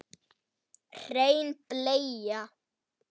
Hrein bleia